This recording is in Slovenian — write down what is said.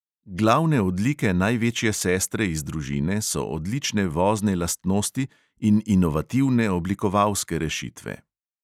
Glavne odlike največje sestre iz družine so odlične vozne lastnosti in inovativne oblikovalske rešitve.